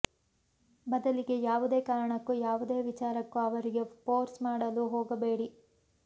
ಬದಲಿಗೆ ಯಾವುದೇ ಕಾರಣಕ್ಕೂ ಯಾವುದೇ ವಿಚಾರಕ್ಕೂ ಅವರಿಗೆ ಫೋರ್ಸ್ ಮಾಡಲು ಹೋಗಬೇಡಿ